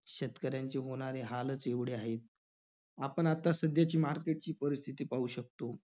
शेतकऱ्यांची होणारे हालच एवढे आहेत. आपण आता सध्याची market ची परिस्थिती पाहू शकतो.